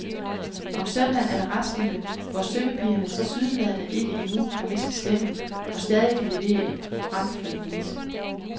Om søndagen er der restgilde, hvor syngepigerne tilsyneladende ikke endnu har mistet stemmen og stadig kan levere en bramfri vise.